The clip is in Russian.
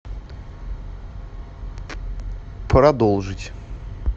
продолжить